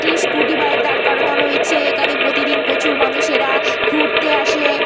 একটি scooty bike দাঁড় করানো রয়েছে। এখানে প্রতিদিন প্রচুর মানুষেরা ঘুরতে আসে।